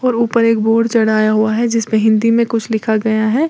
और ऊपर एक बोर्ड चढ़ाया हुआ है जिसमें हिंदी में कुछ लिखा गया है।